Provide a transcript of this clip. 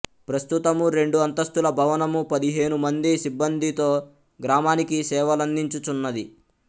ప్రస్తుతము రెండు అంతస్తుల భవనము పదిహేనుమంది సిబ్బందితో గ్రామానికి సేవలందించుచున్నది